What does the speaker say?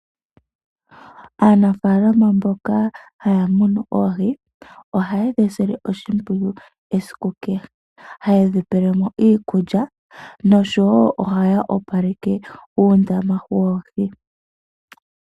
Aanafaalama mboka haya munu oohi, ohayedhi sile oshimpwiyu esiku kehe, hayedhi pelemo iikulya noshowo ohaya opaleke uundama woohi.